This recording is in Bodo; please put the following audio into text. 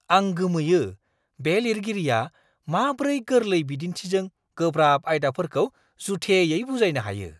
आं गोमोयो, बे लिरगिरिया माब्रै गोरलै बिदिन्थिजों गोब्राब आयदाफोरखौ जुथेयै बुजायनो हायो!